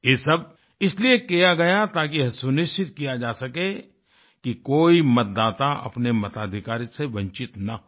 ये सब इसलिए किया गया ताकि यह सुनिश्चित किया जा सके कि कोई मतदाता अपने मताधिकार से वंचित ना हो